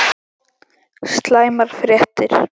SLÆMAR FRÉTTIR